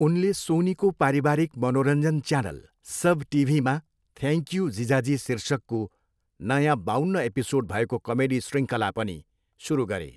उनले सोनीको पारिवारिक मनोरञ्जन च्यानल, सब टिभीमा थ्यान्ङक्यू जीजाजी शीर्षकको नयाँ बाउन्न एपिसोड भएको कमेडी श्रृङ्खला पनि सुरु गरे।